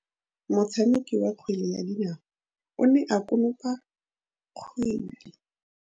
Motshameki wa kgwele ya dinaô o ne a konopa kgwele.